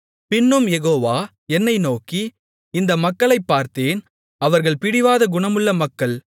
பின்னும் யெகோவா என்னை நோக்கி இந்த மக்களைப் பார்த்தேன் அவர்கள் பிடிவாத குணமுள்ள மக்கள்